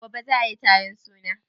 Gobe ne za ayi taron suna?